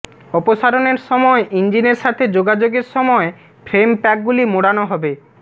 অপসারণের সময় ইঞ্জিনের সাথে যোগাযোগের সময় ফ্রেম প্যাকগুলি মোড়ানো হবে